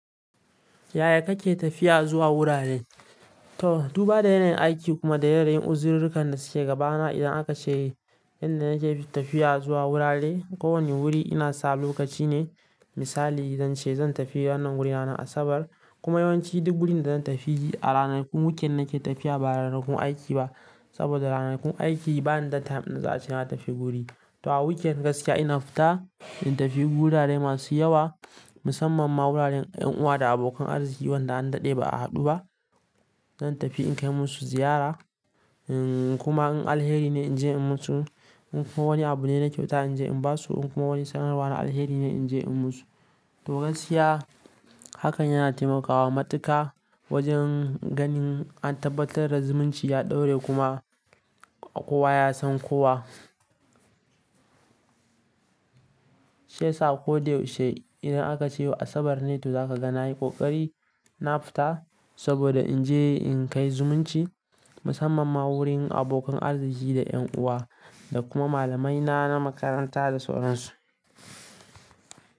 Yaya kake tafiya zuwa wurare? To, duba da yanayin aiki kuma da yanayin uziririkan da suke gabana. Idan aka ce inda nake tafiya zuwa wurare, kowane wuri ina sa lokaci ne. Misali zance zan tafi wannan wurin ranar Asabar kuma yawanci duk wurin da zan tafi a ranakun weekend nake tafiya ba ranakun aiki ba. Saboda ranakun aiki bani da time ɗin da za'ace na tafi guri. To a weekend gaskiya ina fita in tafi wurare masu yawa, musamman ma wuraren 'yan uwa da abokan arziki wanda an daɗe ba a haɗu ba. Zan tafi in kai musu ziyara, kuma in alheri ne in je in musu. In kuma wani abu ne na kyauta in je in basu. In kuma wani sanarwa na alheri ne in je in musu. To gaskiya hakan yana taimakawa matuka wajen ganin an tabbatar da zumunci ya ɗore kuma kowa ya san kowa. Shiyasa ko da yaushe idan aka ce yau Asabar ne to zaka ga na yi ƙoƙari na fita saboda in je in kai zumunci musamman ma wurin abokan arziki da 'yan uwa da kuma malamaina na makaranta da sauran su.